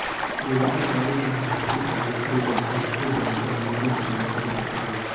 योगिता बाली एक भारतीय अभिनेत्री व डिस्को डांसर मिथुन चक़वर्ती की पत्नी हैं